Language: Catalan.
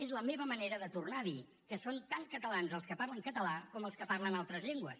és la meva manera de tornar a dir que són tan catalans els que parlen català com els que parlen altres llengües